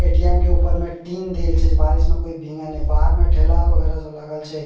ATM. के ऊपर में टिन देल छै जे बारिश में कोई भींगे ने बाहर में ठेला वगेरा सब लागल छै।